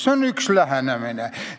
See on üks lähenemine.